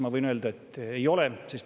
Ma võin öelda, et ei ole.